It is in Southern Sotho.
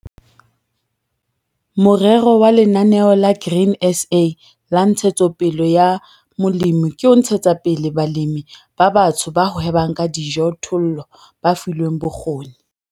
Morero wa Lenaneo la Grain SA la Ntshetsopele ya Molemi ke ho ntshetsa pele balemi ba batsho ba hwebang ka dijothollo ba filweng bokgoni.